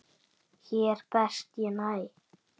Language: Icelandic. Hér best ég næ.